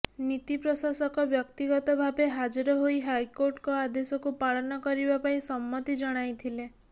ନୀତିପ୍ରଶାସକ ବ୍ୟକ୍ତିଗତ ଭାବେ ହାଜର ହୋଇ ହାଇକୋର୍ଟଙ୍କ ଆଦେଶକୁ ପାଳନ କରିବା ପାଇଁ ସମ୍ମତି ଜଣାଇଥିଲେ